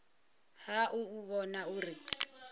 ha u u vhona uri